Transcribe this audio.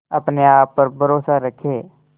अपने आप पर भरोसा रखें